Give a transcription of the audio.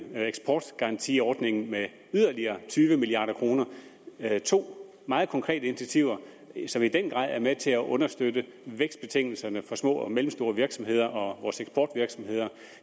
eksportgarantiordningen med yderligere tyve milliard kroner det er to meget konkrete initiativer som i den grad er med til at understøtte vækstbetingelserne for små og mellemstore virksomheder og for vores eksportvirksomheder